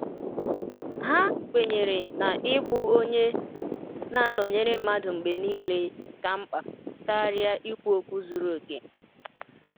Ha kwenyere na ịbụ onye um na anọnyere mmadụ mgbe niile ka mkpa karịa ikwu okwu zuru oke.